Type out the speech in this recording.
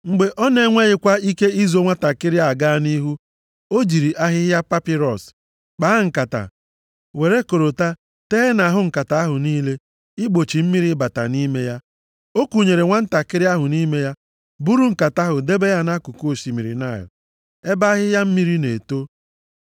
Mgbe ọ na-enweghịkwa ike izo nwantakịrị a gaa nʼihu, o jiri ahịhịa papịrọs + 2:3 Bụ ahịhịa na-epu nʼakụkụ mmiri kpaa nkata, were korota tee nʼahụ nkata ahụ niile igbochi mmiri ịbata nʼime ya. O kunyere nwantakịrị ahụ nʼime ya buru nkata ahụ debe ya nʼakụkụ osimiri Naịl ebe ahịhịa mmiri na-eto.